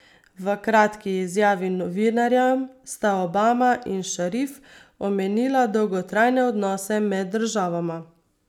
V kratki izjavi novinarjem sta Obama in Šarif omenila dolgotrajne odnose med državama.